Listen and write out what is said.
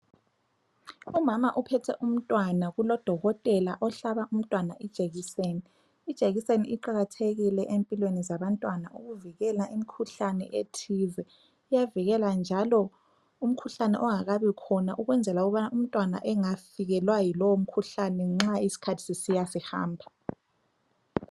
Umama uphethe umntwana kulodokotela ohlaba umntwana ijekiseni. Ijekiseni iqakathekile empilweni zabantwana ukuvikela imkhuhlane ethize. Iyavikela njalo umkhuhlane ongakabikhona ukwenzela ukubana umntwana engafikelwa yilowo mkhuhlane nxa iskhathi sisiya sihamba.